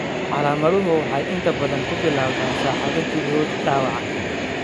Calaamaduhu waxay inta badan ku bilowdaan saacado gudahood dhaawaca.